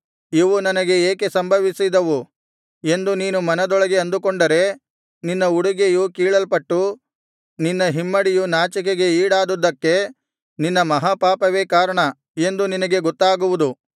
ಇವು ನನಗೆ ಏಕೆ ಸಂಭವಿಸಿದವು ಎಂದು ನೀನು ಮನದೊಳಗೆ ಅಂದುಕೊಂಡರೆ ನಿನ್ನ ಉಡುಗೆಯು ಕೀಳಲ್ಪಟ್ಟು ನಿನ್ನ ಹಿಮ್ಮಡಿಯು ನಾಚಿಕೆಗೆ ಈಡಾದುದ್ದಕ್ಕೆ ನಿನ್ನ ಮಹಾಪಾಪವೇ ಕಾರಣ ಎಂದು ನಿನಗೆ ಗೊತ್ತಾಗುವುದು